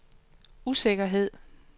usikkerhed